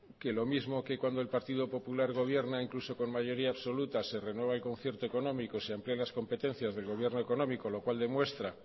que lo mismo que cuando el partido popular gobierna incluso con mayoría absoluta se renueva el concierto económico se amplían las competencias del gobierno económico lo cual demuestra